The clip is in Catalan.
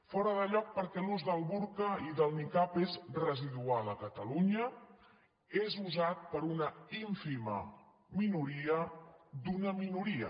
fora de lloc perquè l’ús del burca i del nicab és residual a catalunya són usats per una ínfima minoria d’una minoria